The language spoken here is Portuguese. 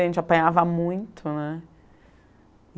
A gente apanhava muito, né?